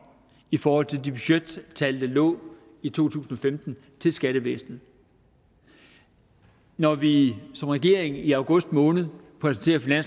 i forhold til de budgettal der lå i to tusind og femten til skattevæsenet når vi som regering i august måned præsenterer